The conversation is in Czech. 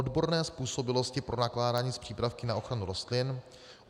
odborné způsobilosti pro nakládání s přípravky na ochranu rostlin;